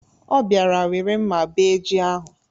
Ọ bịara were mma bee ji ahụ.